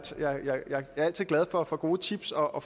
altid glad for at få gode tips og og